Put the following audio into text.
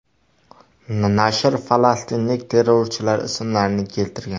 Nashr falastinlik terrorchilar ismlarini keltirgan.